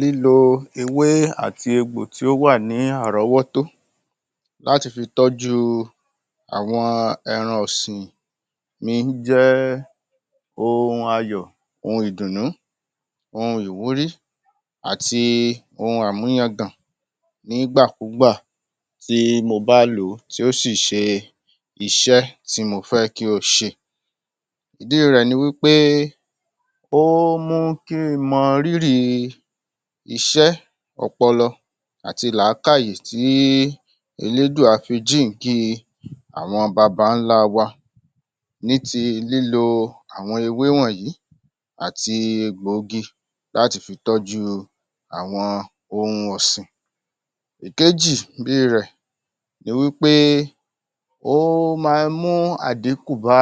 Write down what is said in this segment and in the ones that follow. Lílo ewé àti egbò tí ó wà ní àrọ́wọ́tó láti fi tọ́jú àwọn ẹran ọ̀sìn ní jẹ́ ohun ayọ̀, ohun ìdùnnú, ohun ìwúrí, ohun àmúyangàn, nígbàkúgbà tí a bá lò ó, tí ó si ṣe iṣẹ́ tí mo fẹ́ kí ó ṣe ìdí rẹ̀ ni wí pé ó mú ki ń mọ rírì iṣẹ́ ọpọlọ. àti làkáì tí Elédùà fi jíǹki àwọn baba-ńlá wa ní ti lílọ àwọn ewé wọ̀yìí àti egbò igi láti fi tọ́jú àwọn ohun ọ̀sìn. Ìkejì bí rẹ̀ ni wí pé ó máa mú àdínkù bá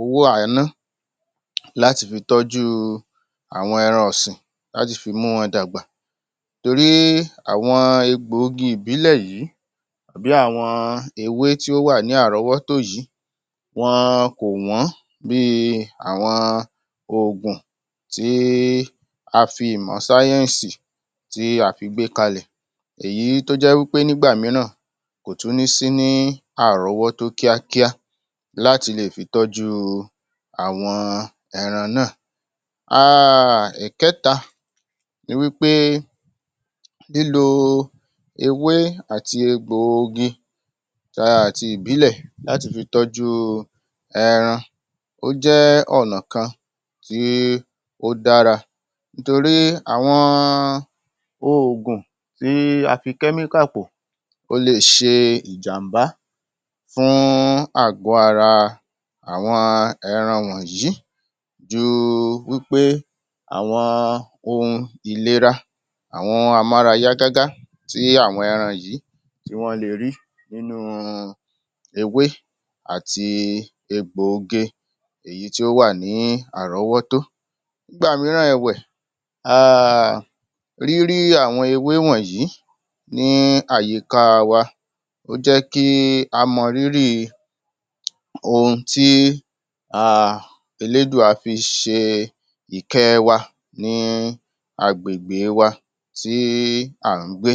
owó à ń náà láti fi tọ́jú àwọn ẹran ọ̀sìn láti fi mú wọn dàgbà torí àwọn ègbò igi ìbílẹ̀ yìí bí àwọn ewé tó wà ní àrọ́wọ́tó yìí wọn kò wọ́n ní àwọn ògùn tí a fi ìmọ̀ sáyẹ̀sì tí a fi gbe kalẹ̀ èyí tó jẹ́ wí pé nígbà mìíràn kò tún ní sí ní àrọ́wọ́tó kíákíá láti lè fi tọ́jú àwọn ẹran náà um Ìkẹ́ta, ni wí pé lílo ewé àti egbò igi um àti ìbílẹ̀ la ó tún fi tọ́jú ẹran tó jẹ́ ọ̀nà kan tí ó dára torí àwọn ògùn tí a fi chemical pò ó lè ṣe ìjàmbá fún àgọ̀ ara àwọn ẹran wọǹyìí ju wí pé àwọn ohun ìlera àwọn a mú ara yá gaga tí àwọn tí wọ́n le rí, niụnu ewé àti egbò igi ìyí tó wà ní àrọ́wọ́tó nígbà mìíràn èwẹ̀ um rírí àwọn ewé wọ̀́nyìí ní àyíká wa ó jẹ́ kí a mọ̀ rírì ohun tí a Ẹlédùà fi ṣe ìkẹ́ wa àgbègbè wa sí àrúngbé